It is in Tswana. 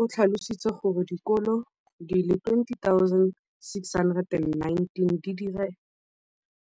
o tlhalositse gore dikolo di le 20 619